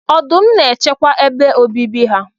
Ọdụm n'echekwa ebe obibi ha.